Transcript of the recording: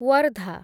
Wardha